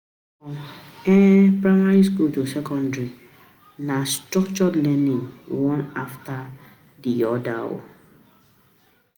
From um primary school to secondary, na um structured learning, one afta di um oda.